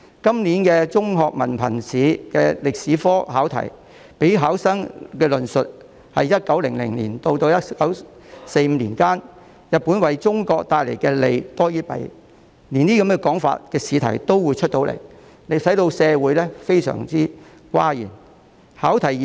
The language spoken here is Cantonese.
今年香港中學文憑考試的歷史科試題，要求考生論述 "1900 年至1945年間，日本為中國帶來的利多於弊"，竟然出現這樣的試題，令社會大感譁然。